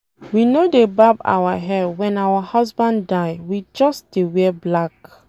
We no dey barb our hair wen our husband die we just dey wear black